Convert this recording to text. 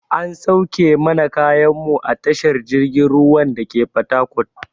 An sauke mana kayan mu a tashar jirgin ruwan dake fatakot.